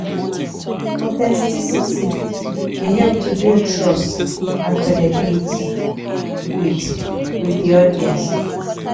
Authenticity dey help to build trust and credibility with with di audience.